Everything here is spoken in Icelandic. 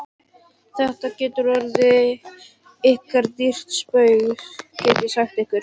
Þetta getur orðið ykkur dýrt spaug, get ég sagt ykkur!